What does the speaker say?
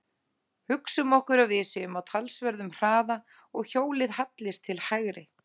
Hugsum okkur að við séum á talsverðum hraða og hjólið hallist til hægri.